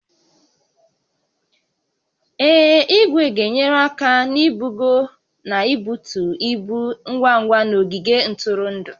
Ee, igwe ga-enyere aka na-ibugo na ibutu ibu ngwa ngwa n'ogige ntụrụndụ